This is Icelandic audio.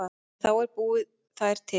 En þá er að búa þær til.